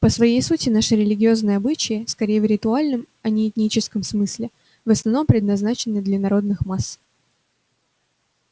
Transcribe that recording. по своей сути наши религиозные обычаи скорее в ритуальном а не этическом смысле в основном предназначены для народных масс